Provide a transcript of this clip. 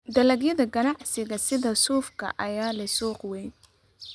Dalagyada ganacsiga sida suufka ayaa leh suuq weyn.